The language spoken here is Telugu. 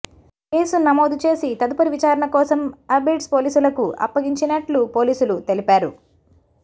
కేసు నమోదు చేసి తదుపరి విచారణ కోసం ఆబిడ్స్ పోలీసులకు అప్పగించినట్లు పోలీసులు తెలిపారు